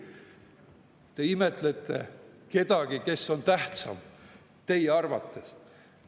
Te imetlete kedagi, kes on teie arvates tähtsam.